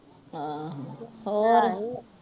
ਆਹੋ ਹੋਰ